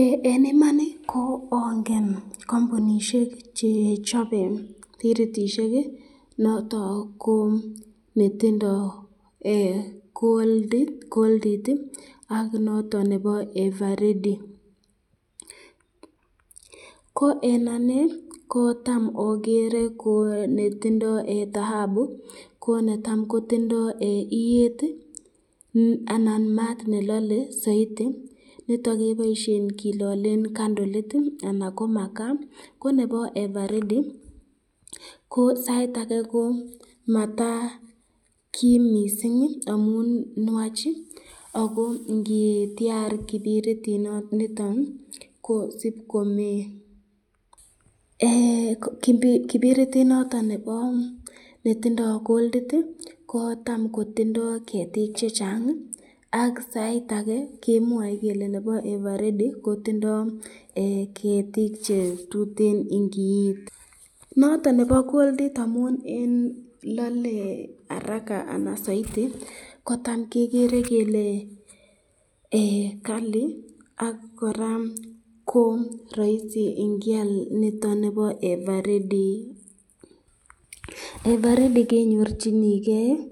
Eng Iman, ko angen kampunishek che chabe biritishek noton ko netindo Goldit ak noton nebo ever ready, ko eng anee ko tam agere ko netindo tahabu ko netam kotindo iyet anan mat nelale saiti nitoni keboisyen kilalen kandalit anan ko makaa, ko nebo aeng ko ever ready ko sait ake ko matakim mising amun nwach ,ako ngityar kibiritit nitoni ko sib komee, kibiritit noton netindo Goldit ii ko tam kotindo ketik chechang ak sait ake kemwae kele nebo ever ready kotindo ketik che tuteno ingiit , noton nebo Goldit amun lale araka anan saiti ko tam kegere kele Kali ak koraa raisi ingial noton nebo ever ready, ever ready kenyorchiken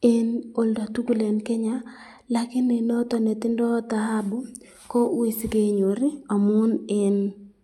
eng olda tukul eng Kenya, lakini nondon netindo tahabu ko ui sikenyor.